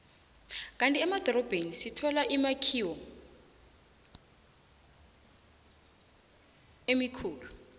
kandi emadorobheni sithola imakhiwo emikhulu